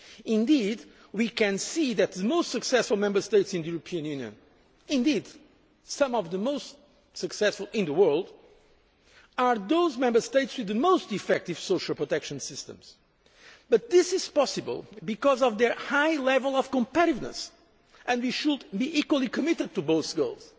Indeed, we can see that the most successful Member States in the European Union, indeed some of the most successful in the world, are those Member States with the most effective social protection systems, but this is possible because of their high level of competitiveness, and we should be equally committed to both goals.